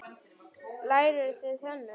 Lærðuð þið hönnun?